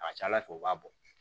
A ka ca ala fɛ u b'a bɔ